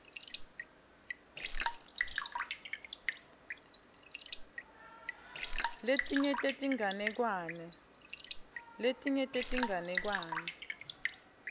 letinye tetinganekwane